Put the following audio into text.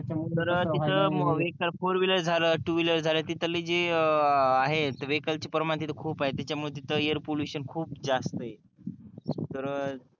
तर तिथ four wheeler झल टू विलेर झाल तिथले जे अं आहे वेहिकल चे परमा तिथ खूप आहे त्याच्यामुळ तिथ एयर पॉल्युशन खूप आहे तर